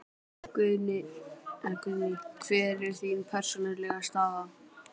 Guðný: Hver er þín persónulega staða?